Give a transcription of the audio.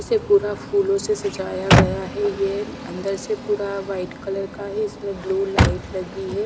इसे पूरा फूलों से सजाया गया है यह अंदर से पूरा वाइट कलर का है इसमें ब्लू लाइट लगी है।